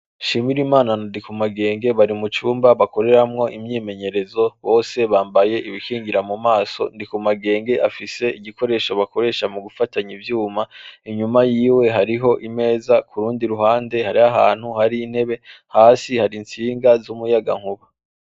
Shimirimana na Ndikumagenge bari mu cumba bakoreramwo imyimenyerezo bose bambaye ibikingira mu maso Ndikumagenge afise igikoresho bakoresha mu gufatanya ivyuma inyuma yihe hariho imeza kurundi ruhande hariho ahantu hari intebe hasi hari instinga z'umuyagankuba